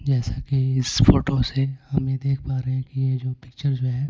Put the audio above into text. जैसा कि इस फोटो से हम ये देख पा रहे हैं कि ये जो पिक्चर जो है--